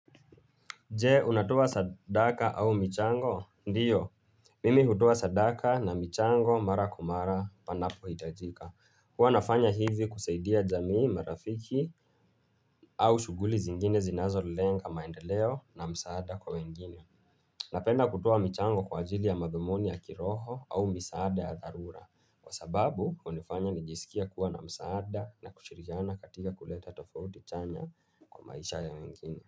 Je unatuo sadaka au michango? Ndiyo, mimi hutoa sadaka na michango mara kwa mara panapohitajika. Huwa nafanya hivi kusaidia jamii, marafiki au shughuli zingine zinazolenga maendeleo na msaada kwa wengine. Napenda kutoa michango kwa ajili ya madhumuni ya kiroho au misaada ya dharura. Kwa sababu hunifanya nijisikie kuwa na msaada na kushirikiana katika kuleta tofauti chanya kwa maisha ya wengine.